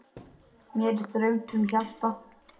Mér er þröngt um hjarta.